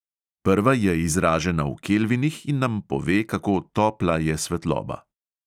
Prva je izražena v kelvinih in nam pove, kako "topla" je svetloba.